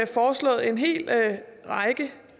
foreslået en hel række